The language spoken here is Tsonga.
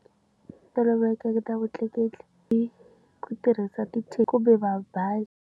Tolovelekeke ta vutleketli i ku tirhisa ti-taxi kumbe va bazi.